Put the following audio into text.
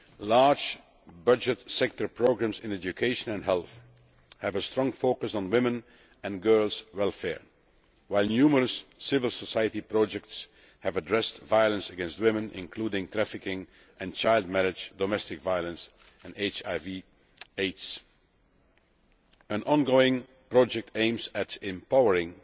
Large budget sector programmes in education and health have a strong focus on women's and girls' welfare, while numerous civil society projects have addressed violence against women, including trafficking and child marriage, domestic violence and HIV Aids. An ongoing project aims at empowering